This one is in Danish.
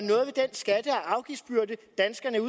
afgiftsbyrde danskerne er